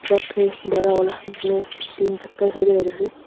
truck के बरा वाला जिसमें तीन चक्कर